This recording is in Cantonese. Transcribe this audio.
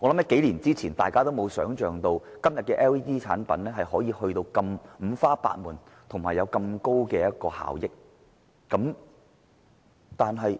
幾年前，大家或許想象不到今天的 LED 產品如此五花八門，並且有如此高的能源效益。